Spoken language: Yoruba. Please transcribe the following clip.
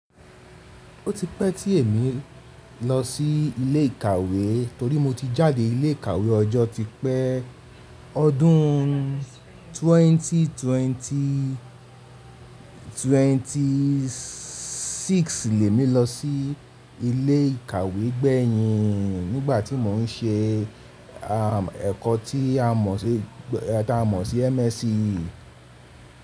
Ó ti pẹ́ tí èmi lọ sí ilé ìkàwé torí mo ti jáde ilé ìkàwé ọjọ́ ti pẹ́. Ọdún twenty twenty six lẹ́ mi lọ sí ilé ìkàwé gbẹ̀yìn nígbà tí mò ń ṣe ẹ̀kọ́ tí a mọ̀ sí MSc.